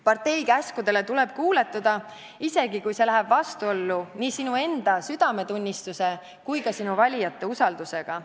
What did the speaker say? Partei käskudele tuleb kuuletuda, isegi kui see läheb vastuollu nii sinu enda südametunnistuse kui ka sinu valijate usaldusega.